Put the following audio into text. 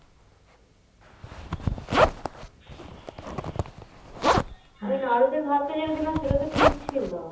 আমি নাড়া দিয়া ভাতটা যেটা দিলাম সেটা তো ঠিক ছিল